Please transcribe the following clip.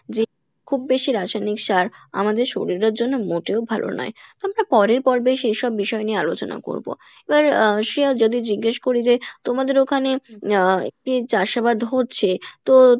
যে খুব বেশি রাসায়নিক সার, আমাদের শরীরের জন্য মোটেও ভালো নই তো আমরা পড়ের পর্বে সেইসব বিষয় নিয়ে আলোচনা করবো এবার আহ শ্রেয়া যদি জিজ্ঞেস করি যে তোমাদের ওখানে আহ চাষ আবাদ হচ্ছে তো